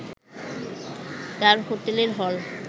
তার হোটেলের হল